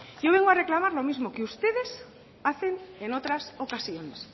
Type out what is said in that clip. yo vengo a reclamar lo mismo que ustedes hacen en otras ocasiones